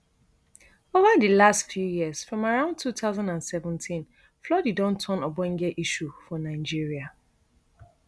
ova di last few years from around two thousand and seventeen flooding don turn ogbonge issue for nigeria